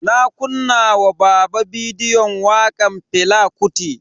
Na kunna wa baba bidiyon wakan Fela Kuti.